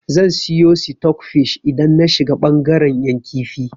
Zan siyo sitok fish idan na shiga bangaren 'yan kifi.